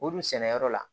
O dun sɛnɛyɔrɔ la